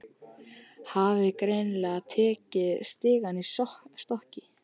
Hafði greinilega tekið stigann í stökki.